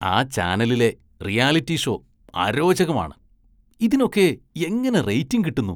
ആ ചാനലിലെ reality show അരോചകമാണ്, ഇതിനൊക്കെ എങ്ങനെ റേറ്റിങ് കിട്ടുന്നു?